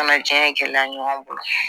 Kana diɲɛ gɛlɛya ɲɔgɔn bolo